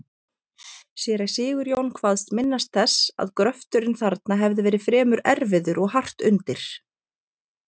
Séra Sigurjón kvaðst minnast þess, að gröfturinn þarna hafi verið fremur erfiður og hart undir.